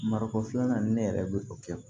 Marikon filanan ni ne yɛrɛ bɛ o kɛ